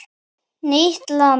Nýtt land